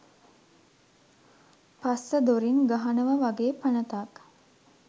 පස්ස දොරින් ගහනවා වගේ පනතක්.